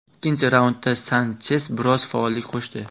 Ikkinchi raundda Sanches biroz faollik qo‘shdi.